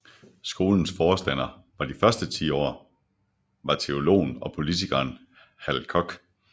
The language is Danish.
Skolens forstander de første ti år var teologen og politikeren Hal Koch